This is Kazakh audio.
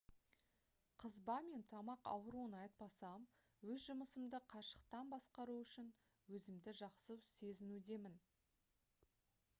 қызба мен тамақ ауруын айтпасам өз жұмысымды қашықтан басқару үшін өзімді жақсы сезінудемін